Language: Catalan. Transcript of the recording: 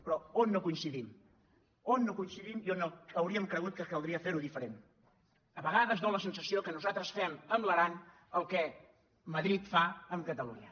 però on no coincidim on no coincidim i on hauríem cregut que caldria fer·ho diferent a vegades dóna la sensació que nosaltres fem amb l’aran el que madrid fa amb catalunya